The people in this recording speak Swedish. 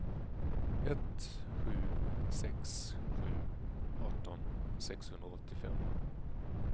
ett sju sex sju arton sexhundraåttiofem